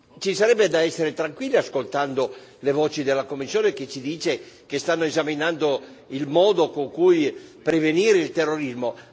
Ci sarebbe da essere tranquilli ascoltando le voci della Commissione, che ci dice che stanno esaminando il modo con cui prevenire il terrorismo.